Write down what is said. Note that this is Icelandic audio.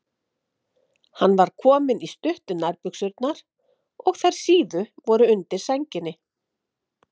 Hann var kominn í stuttu nærbuxurnar og þær síðu voru undir sænginni.